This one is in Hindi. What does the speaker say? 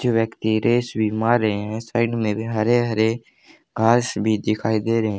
कुछ व्यक्ति रेस भी मार रहे है साइड में भी हरे हरे घास भी दिखाई दे रहे --